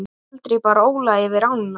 Aldrei bar Óli yfir ána.